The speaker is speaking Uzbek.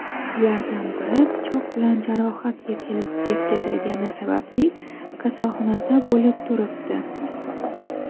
Ulardan biri pichoq bilan jarohat yetkazilgani sababli kasalxonada bo‘lib turibdi.